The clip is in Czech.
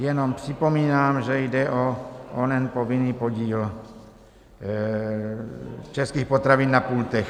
Jenom připomínám, že jde o onen povinný podíl českých potravin na pultech.